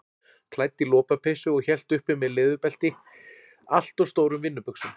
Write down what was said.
Klædd í lopapeysu og hélt uppi með leðurbelti allt of stórum vinnubuxum.